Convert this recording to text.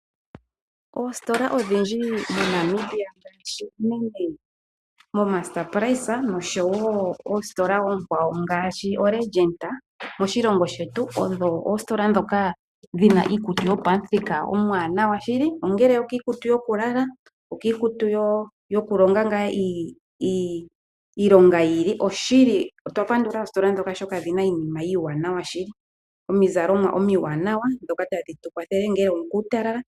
Oongeshefa odhindji moNamibia ngaashi moMr Price osho wo oLegit, odho oositola ndhoka dhina iikutu yopamuthika omwaanawa shili. Iikutu yoku lala, osho wo iikutu yokulonga yiili. Odhina iizalomwa hayi kelele uutalala.